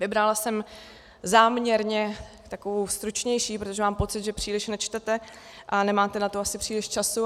Vybrala jsem záměrně takovou stručnější, protože mám pocit, že příliš nečtete a nemáte na to asi příliš času.